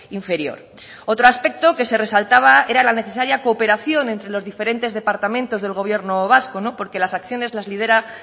inferior otro aspecto que se resaltaba era la necesaria cooperación entre los diferentes departamentos del gobierno vasco porque las acciones las lidera